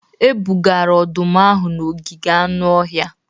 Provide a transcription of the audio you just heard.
E bugara ọdụm ahụ n'ogige anụ ọhịa